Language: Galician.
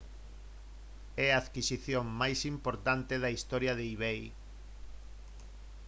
é a adquisición máis importante da historia de ebay